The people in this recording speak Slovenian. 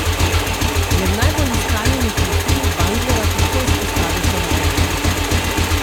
Med najbolj iskanimi profili Bandljeva težko izpostavi samo enega.